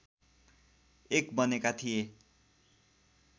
एक बनेका थिए